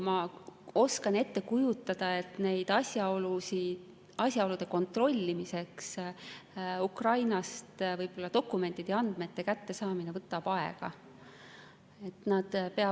Ma oskan ette kujutada, et nende asjaolude kontrollimiseks võib-olla dokumentide ja muude andmete kättesaamine Ukrainast võtab aega.